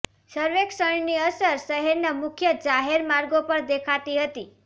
સર્વેક્ષણની અસર શહેરના મુખ્ય જાહેર માર્ગો પર દેખાતી હતી